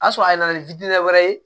A sɔrɔ a nana ni wɛrɛ ye